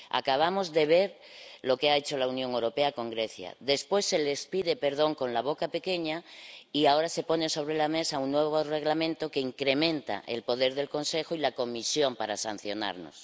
Acabamos de ver lo que ha hecho la Unión Europea con Grecia. Después se les pide perdón con la boca pequeña, y ahora se pone sobre la mesa un nuevo Reglamento que incrementa el poder del Consejo y la Comisión para sancionarnos.